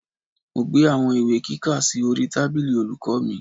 Mo gbé àwọn ìwé kíkà sí orí tábìlì olùkọ́ mi